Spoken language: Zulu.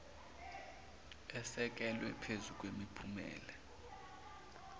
esekelwe phezu kwemiphumela